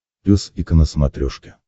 пес и ко на смотрешке